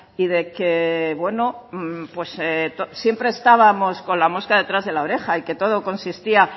y de que bueno siempre estábamos con la mosca detrás de la oreja y que todo consistía